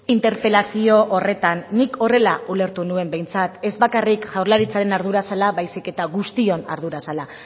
interpelazio horretan nik horrela ulertu nuen behintzat ez bakarrik jaurlaritzaren ardura zela baizik eta guztion ardura zela